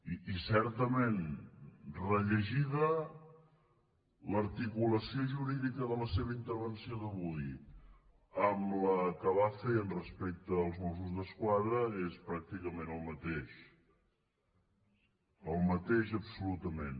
i certament rellegida l’articulació jurídica de la seva intervenció d’avui amb la que va fer respecte als mossos d’esquadra és pràcticament el mateix el mateix absolutament